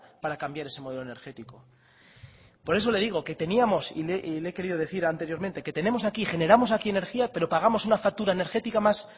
para cambiar ese modelo energético por eso le digo que teníamos y le he querido decir anteriormente que tenemos aquí generamos aquí energía pero pagamos una factura energética